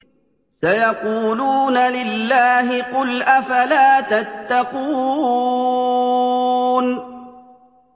سَيَقُولُونَ لِلَّهِ ۚ قُلْ أَفَلَا تَتَّقُونَ